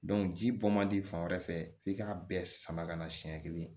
ji bɔ man di fan wɛrɛ fɛ f'i k'a bɛɛ sama ka na siɲɛ kelen